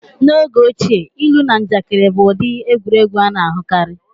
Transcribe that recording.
N'oge ochie, ilu na njakịrị bụ ụdị egwuregwu a na-ahụkarị.